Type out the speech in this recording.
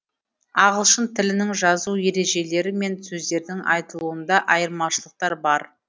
ағылшын тілінің жазу ережелері мен сөздердің айтылуында айырмашылықтар бар